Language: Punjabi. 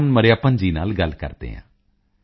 ਪੋਨ ਮਰਿਯੱਪਨ ਜੀ ਵਣੱਕਮ ਨੱਲਾ ਇਰ ਕਿੰਗੜਾ